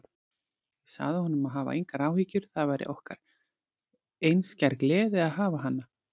Ég sagði honum að hafa engar áhyggjur, það væri okkur einskær gleði að hafa hana.